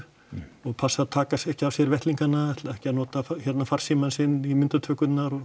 og passa að taka ekki af sér vettlingana ekki að nota farsímann sinn í myndatökurnar og